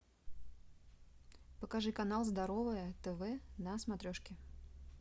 покажи канал здоровое тв на смотрешке